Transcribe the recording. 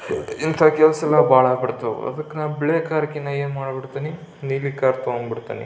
ಇಂಥ ಕೆಲಸ ಅಲ್ಲ ಬಹಳ ಆಗ್ಬಿಟ್ಟವು ಅದಕ್ಕೆ ಬಿಳಿ ಕಾರ್ ಕಿನ್ನ ಏನ್ ಮಾಡ್ತಿನಿ ನೀಲಿ ಕಾರ್ ತಗೋಂಡ್ಬಿಡ್ತೇನಿ.